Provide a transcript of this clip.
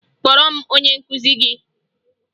Kpọọrọ m onye nkụzi gị!